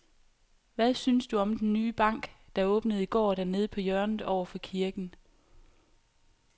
Hvad synes du om den nye bank, der åbnede i går dernede på hjørnet over for kirken?